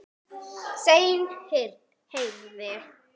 Senn heyrði